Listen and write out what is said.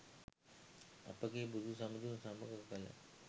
අපගේ බුදු සමිඳුන් සමඟ කළ